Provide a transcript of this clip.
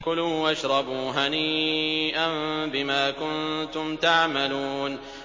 كُلُوا وَاشْرَبُوا هَنِيئًا بِمَا كُنتُمْ تَعْمَلُونَ